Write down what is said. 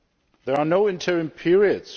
There are no interim periods.